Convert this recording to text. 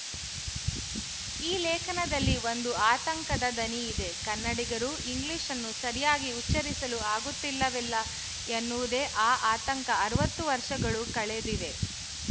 ಈ ಲೇಖನದಲ್ಲಿ ಒಂದು ಆತಂಕದ ದನಿ ಇದೆ ಕನ್ನಡಿಗರು ಇಂಗ್ಲಿಶ್‌ನ್ನು ಸರಿಯಾಗಿ ಉಚ್ಚರಿಸಲು ಆಗುತ್ತಿಲ್ಲವಲ್ಲ ಎನ್ನುವುದೇ ಆ ಆತಂಕ ಅರವತ್ತು ವರ್ಶಗಳು ಕಳೆದಿವೆ